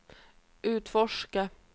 utforska